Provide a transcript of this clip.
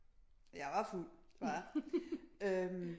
Jeg var fuld det var jeg